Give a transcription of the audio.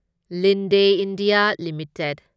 Linde India limited